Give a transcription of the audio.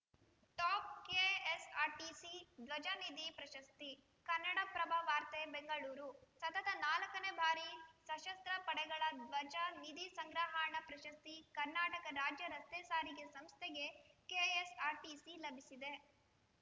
top KSRTC ಧ್ವಜ ನಿಧಿ ಪ್ರಶಸ್ತಿ ಕನ್ನಡಪ್ರಭ ವಾರ್ತೆ ಬೆಂಗಳೂರು ಸತತ ನಾಲ್ಕನೇ ಬಾರಿ ಸಶಸ್ತ್ರ ಪಡೆಗಳ ಧ್ವಜ ನಿಧಿ ಸಂಗ್ರಹಣಾ ಪ್ರಶಸ್ತಿ ಕರ್ನಾಟಕ ರಾಜ್ಯ ರಸ್ತೆ ಸಾರಿಗೆ ಸಂಸ್ಥೆಗೆ ಕೆಎಸ್‌ಆರ್‌ಟಿಸಿ ಲಭಿಸಿದೆ